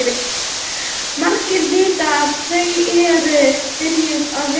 Margir vita að þau eru byrjuð að vera saman.